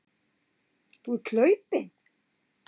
Þú ert hlaupinn.